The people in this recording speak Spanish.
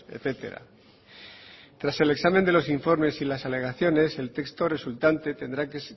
etcétera tras el examen de los informes y las alegaciones el texto resultante tendrá que